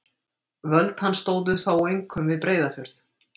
Völd hans stóðu þó einkum við Breiðafjörð.